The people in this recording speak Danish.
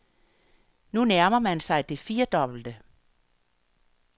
Nu nærmer man sig det firedobbelte.